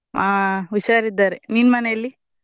ಆಹ್ ಹುಷಾರಿದ್ದಾರೆ ನಿನ್ ಮನೆಯಲ್ಲಿ?